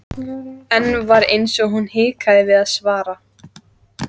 Enn var eins og hún hikaði við að svara.